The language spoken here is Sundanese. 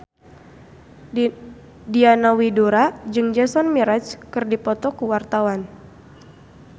Diana Widoera jeung Jason Mraz keur dipoto ku wartawan